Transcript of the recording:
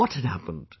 What had happened